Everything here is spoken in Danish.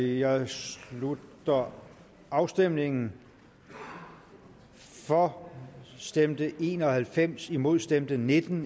jeg slutter afstemningen for stemte en og halvfems imod stemte nitten